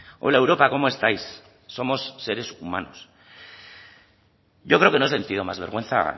hola europa cómo estáis somos seres humanos yo creo que no he sentido más vergüenza